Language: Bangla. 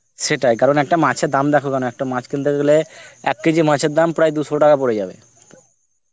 সেটাই কারণ একটা মাছের দাম দেখো কেন, একটা মাছ কিনতে গেলে এক কেজি মাছের দাম প্রায় দুশো টাকা পরে যাবে.